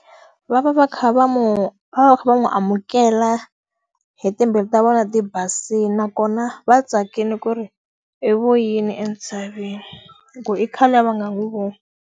Va va va kha va n'wi va va va kha va n'wi amukela hi timbilu ta vona ti basile, nakona va tsakile ku ri i vuyile entshaveni. Hikuva i khale a va nga n'wi voni.